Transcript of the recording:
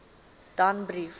danbrief